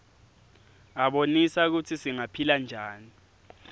abonisa kutsi singaphila njani